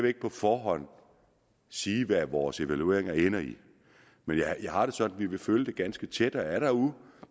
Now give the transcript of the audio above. ikke på forhånd sige hvad vores evalueringer ender i men jeg har det sådan at vi vil følge det ganske tæt og er der